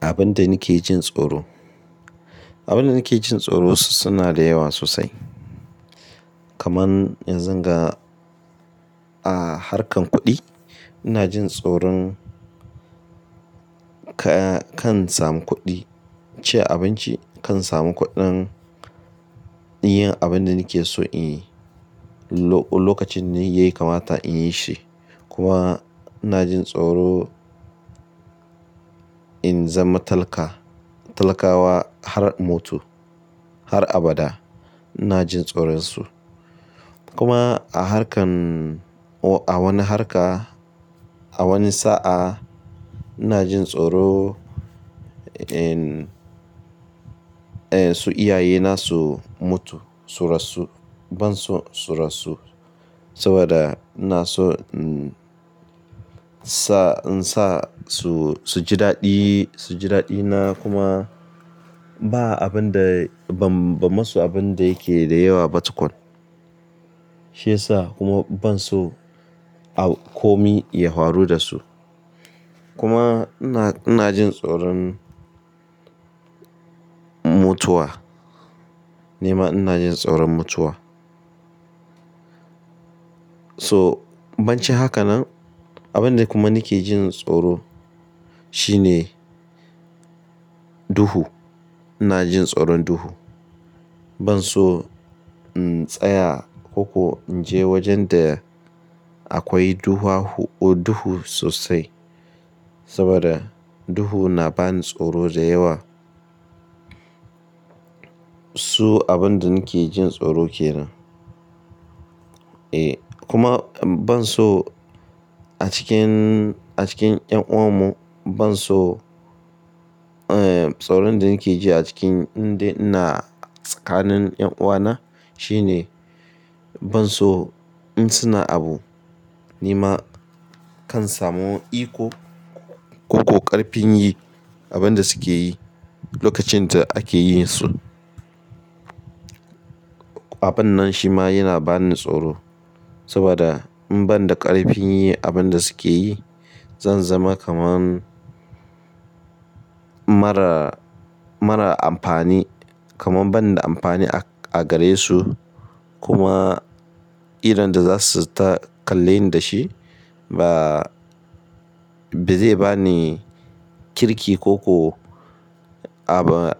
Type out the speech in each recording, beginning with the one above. Abin da nake jin tsoro, abin da nake jin tsoro su suna da yawa sosai. Kaman yanzu ga a harkar kuɗi ina jin tsoron ka-kan samu kuɗi, ci abinci kan samu kuɗin yin abin da nake so in yi lokacin da ya kamata in yi shi. Kuma ina jin tsoro in zama talaka, talakawa har mutu har abada ina jin tsoron su. Kuma a harkar a wani harka a wani sa'a ina jin tsoro in, eh su iyaye na su mutu su rasu ban so su rasu saboda ina so sa in sa su su ji daɗi su ji daɗina kuma ba abin da ban ba masu abin da yake da yawa ba tukun. Shi yasa kuma ban so a komi ya faru da su. Kuma ina ina jin tsoron mutuwa. Nima ina jin tsoron mutuwa. So banchi haka nan abin da kuma nake jin tsoro shine duhu. Ina jin tsoron duhu. Ban so in tsaya ko in je wajen da akwai duha duhu sosai saboda duhu na bani tsoro da yawa. Su abin da nake jin tsoro kenan. E kuma ban so a cikin a cikin ƴan uwan mu ban so eh tsoron da nake ji a cikin inda ina tsakanin yan uwana shine ban so in suna abu nima kan samu iko ko ƙarfin yi abin da suke yi lokacin da ake yin su. Abun nan shi ma yana bani tsoro saboda in ban da ƙarfin yi abin da suke yi zan zama kaman mara mara amfani kaman ban da amfani a gare su kuma idon da za su ta kalle ni da shi ba ba zai bani kirki ko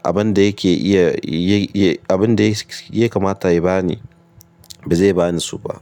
abin da yake iya abin da yake kamata ya bani ba zai bani su ba.